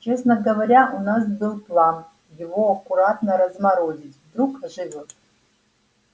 честно говоря у нас был план его аккуратно разморозить вдруг оживёт